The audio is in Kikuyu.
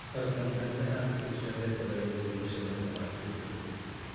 Arutani anene a thukuru cia thekodarĩ gũthii mũcemanio wa kĩbũrũrĩ.